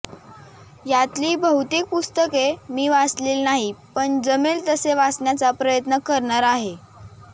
यातली बहुतेक पुस्तके मी वाचलेली नाही पण जमेल तसे वाचण्याचा प्रयत्न करणार आहे